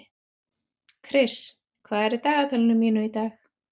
Kris, hvað er í dagatalinu mínu í dag?